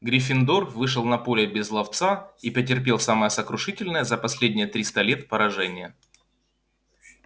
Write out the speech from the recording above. гриффиндор вышел на поле без ловца и потерпел самое сокрушительное за последние триста лет поражение